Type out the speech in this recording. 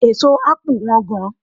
Èso ápù Wọ́n gan